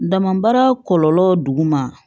Dama baara kɔlɔlɔ duguma